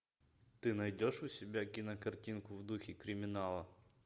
ты найдешь у себя кинокартинку в духе криминала